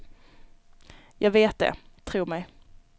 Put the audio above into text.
Jag vet det, tro mig.